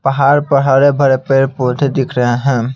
पहाड़ पहाड़ पर बड़े पेड़ पौधे दिख रहे हैं।